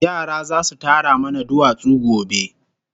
Yara zasu tara mana duwatsu gobe